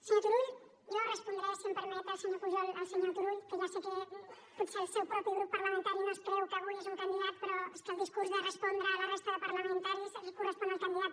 senyor turull jo respondré si em permet el senyor pujol al senyor turull que ja sé que potser el seu propi grup parlamentari no es creu que avui és un candidat però és que el discurs a respondre per la resta de parlamentaris correspon al candidat